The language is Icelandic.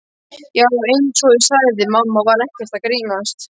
Já, einsog ég sagði, mamma var ekkert að grínast.